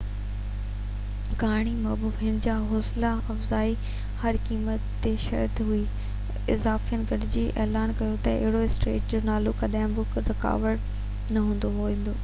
ڪهاڻي موجب هن جو حوصله افزائي هر قيمت تي شهرت هئي افسانين گڏجي اعلان ڪيو ته هيرو اسٽريٽس جو نالو ڪڏهن به رڪارڊ نه ڪيو ويندو